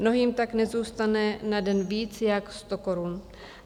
Mnohým tak nezůstane na den víc jak 100 korun.